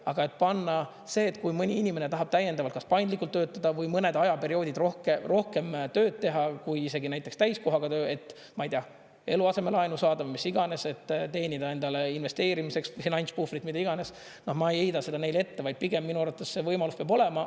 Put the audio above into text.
Aga et panna see, et kui mõni inimene tahab täiendavalt kas paindlikult töötada või mõned ajaperioodid rohkem tööd teha, kui isegi näiteks täiskohaga töö, et ma ei tea, eluaseme laenu saada või mis iganes, et teenida endale investeerimiseks finantspuhvrit, mida iganes, ma ei heida seda neile ette, vaid pigem minu arvates see võimalus peab olema.